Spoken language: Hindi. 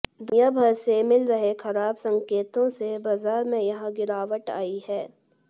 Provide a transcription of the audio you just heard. दुनियाभर से मिल रहे खराब संकेतों से बाजार में यह गिरावट आई है